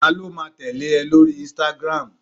talo ma tẹle e lori Instagram